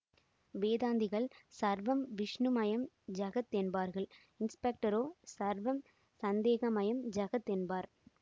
வேதாந்திகள் சர்வம் விஷ்ணுமயம் ஜகத் என்பார்கள் இன்ஸ்பெக்டரோ சர்வம் சந்தேகமயம் ஜகத் என்பார்